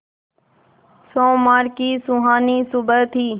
सोमवार की सुहानी सुबह थी